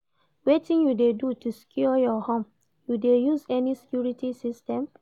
Wetin you dey do to secure your home, you dey use any security system?